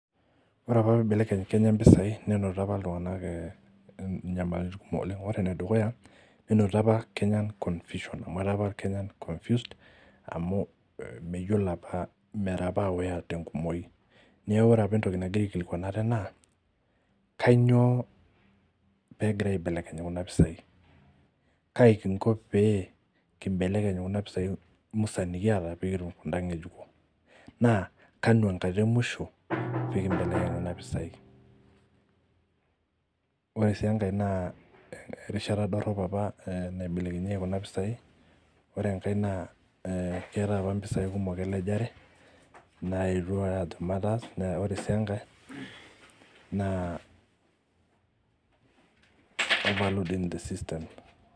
Ore apa pee ibelekeny Kenya mpisai, nenotito apa iltunganak inkibelekenyat kumok oleng. ore ene dukuya nenotito apa confusion amu etaa apa Kenya confused ore apa entoki nagira aikilikuan ate, naa kainyioo peegira aibelekeny Kuna pisai. kaji kinko pee kibelekeny kunapisai nikiata nikitum kuda ngejuko. naa kanu enkata emasho. pee kibelekeny Kuna pisai. ore sii enkae naa erishata dorop apa naibelekenyieki Kuna pisai ore enkae naa ee keetae apa mpisai kumok elejare. naayetu aa ore sii enkae, naa